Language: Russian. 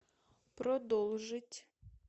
продолжить